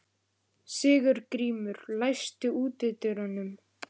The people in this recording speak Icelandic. Sigurgrímur, læstu útidyrunum.